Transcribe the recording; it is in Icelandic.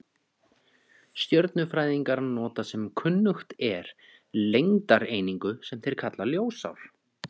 Stjörnufræðingar nota sem kunnugt er lengdareiningu, sem þeir kalla ljósár.